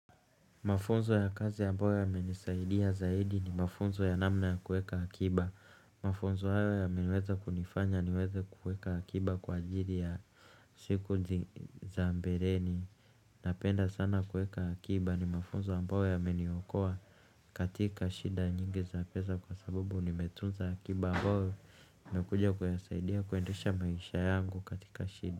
Mafunzo ya kazi ambayo yamenisaidia zaidi ni mafunzo ya namna ya kuweka akiba. Mafunzo hayo yameweza kunifanya niweze kuweka akiba kwa ajili ya siku za mbeleni. Napenda sana kuweka akiba ni mafunzo ambayo yameniokoa katika shida nyingi za pesa kwa sababu nimetunza akiba ambayo inakuja kunisaidia kuendesha maisha yangu katika shida.